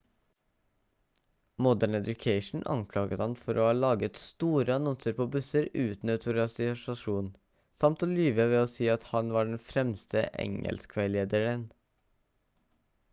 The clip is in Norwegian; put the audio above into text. modern education anklaget ham for å ha laget store annonser på busser uten autorisasjon samt å lyve ved å si at han var den fremste engelskveilederen